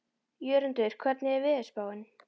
Jörundur, hvernig er veðurspáin?